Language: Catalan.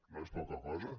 no és poca cosa